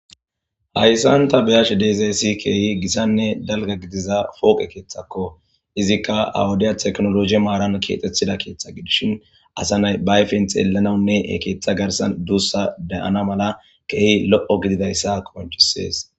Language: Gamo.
Hayssanta beyash deezeessi keehi gissanne dalga gidiza fooqe keeththakko izikka awudiya teknologe maaran kiexethida keeththa gidishin asa nay baayfen xeelanaunne ekeeththa garsan duussa deyana mala keehi lo7o gididayssa koncisees.